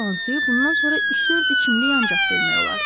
Yerdə qalan suyu bundan sonra üç-dörd içimlik ancaq bölmək olardı.